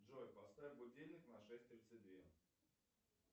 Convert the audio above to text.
джой поставь будильник на шесть тридцать две